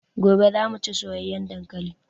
Gobe zamu chi soyayan dankalin